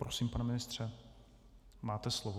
Prosím, pane ministře, máte slovo.